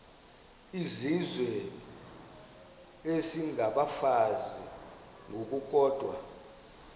izizwe isengabafazi ngokukodwa